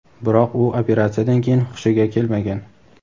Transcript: biroq u operatsiyadan keyin xushiga kelmagan.